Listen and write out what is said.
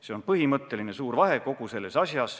See on põhimõtteline, suur vahe kogu selles asjas.